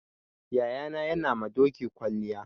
Yayana yana ma doki kwalliya.